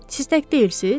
Siz tək deyilsiniz?